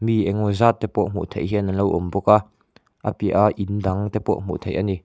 mi engemaw zat te pawh hmuh theih hian an lo awm bawka a piah a in dang te pawh hmuh theih a ni.